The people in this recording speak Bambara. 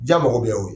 Ja mɔgɔ bɛ ye o